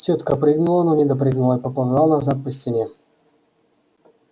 тётка прыгнула но не допрыгнула и поползла назад по стене